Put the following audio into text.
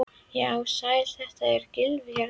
Já, sæll, þetta er Gylfi hérna.